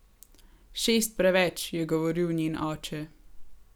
Šest preveč, je govoril njen oče.